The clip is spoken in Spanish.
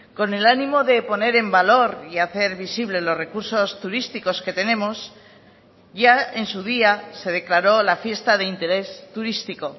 con el ánimo de poner en valor y hacer visible los recursos turísticos que tenemos ya en su día se declaró la fiesta de interés turístico